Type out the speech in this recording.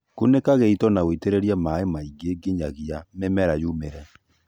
kũnĩka gĩĩto na ũĩtĩrĩrĩe maĩ kaĩngĩ ngĩnyagĩa mĩmera yũmĩre